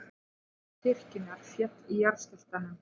Turn kirkjunnar féll í jarðskjálftanum